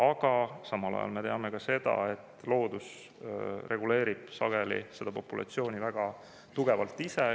Aga samal ajal me teame ka seda, et loodus reguleerib sageli populatsiooni väga tugevalt ise.